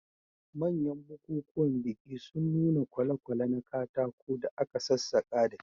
Manyan bukukuwan biki sun nuna kwale-kwale na katako da aka sassaka da kyau.